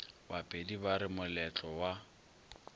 bapedi ba re moletlo wo